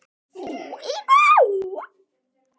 Það er ótrúleg tala.